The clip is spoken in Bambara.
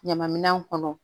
Ɲama minɛn kɔnɔ